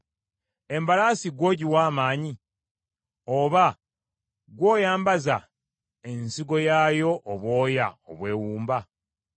“Embalaasi ggwe ogiwa amaanyi, oba ggwe oyambaza ensingo yaayo obwoya obwewumba?